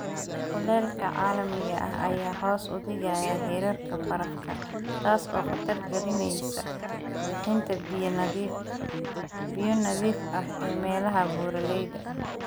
Kulaylka caalamiga ah ayaa hoos u dhigaya heerarka barafka, taas oo khatar gelinaysa bixinta biyo nadiif ah ee meelaha buuraleyda ah.